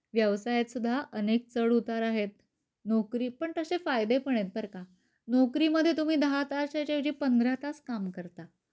व्यवसायत सुद्धा अनेक चढ उतार आहेत. नोकरी पण तशे फायदे पण आहे बर का.नोकरी मध्ये तुम्ही दहा तासाच्या ऐवजी पंधरा तास काम करता.